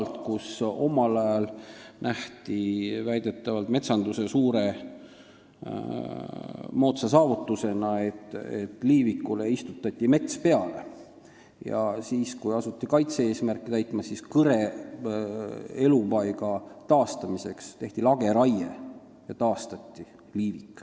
Seal peeti omal ajal väidetavalt metsanduse suureks moodsaks saavutuseks seda, et liivikule istutati mets peale, aga kui asuti kaitse-eesmärke täitma, siis kõre elupaiga taastamiseks tehti lageraie ja liivik taastati.